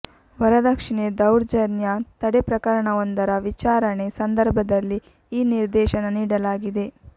ವರದಕ್ಷಿಣೆ ದೌರ್ಜನ್ಯ ತಡೆ ಪ್ರಕರಣವೊಂದರ ವಿಚಾರಣೆ ಸಂದರ್ಭದಲ್ಲಿ ಈ ನಿರ್ದೇಶನ ನೀಡಲಾಗಿದೆ